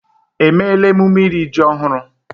Èmeéla emume iri ji ọhụrụ?